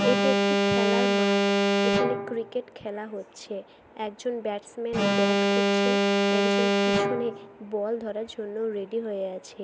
এটি একটি খেলার মাঠ এখানে ক্রিকেট খেলা হচ্ছে । একজন ব্যাটসম্যান ব্যাট করছেন একজন পিছিনে বল ধরার জন্য রেডী হয়ে আছে।